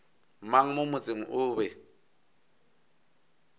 mang mo motseng o be